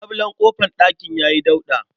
Labulen ƙofar ɗakin ya yi dauɗa.